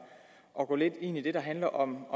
at gå lidt ind i det der handler om